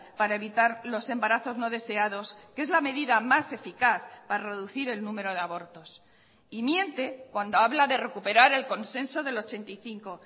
para evitar los embarazos no deseados que es la medida más eficaz para reducir el número de abortos y miente cuando habla de recuperar el consenso del ochenta y cinco